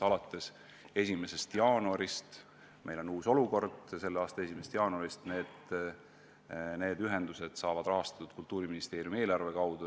Alates 1. jaanuarist meil on uus olukord: need ühendused saavad rahastatud Kultuuriministeeriumi eelarve kaudu.